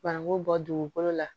Banangu bɔ dugukolo la